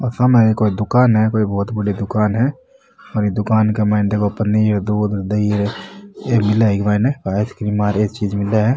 और सामने कोई दुकान है कोई बहुत बड़ी दुकान है और ये दुकान के माइने देखो पनीर दूध दही र ये मिले है इ के मायने आइसक्रीम ये चीज़ मिले है।